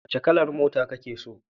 Wace kalar mota kake so?